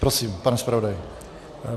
Prosím, pane zpravodaji.